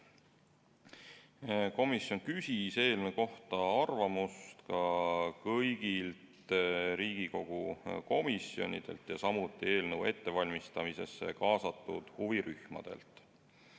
Juhtivkomisjon küsis eelnõu kohta arvamust ka kõigilt teistelt Riigikogu komisjonidelt, samuti eelnõu ettevalmistamisse kaasatud huvirühmadelt.